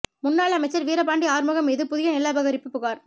முன்னாள் அமைச்சர் வீரபாண்டி ஆறுமுகம் மீது புதிய நில அபகரிப்பு புகார்